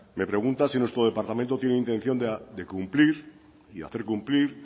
me pregunta si nuestro departamento tiene intención de cumplir y hacer cumplir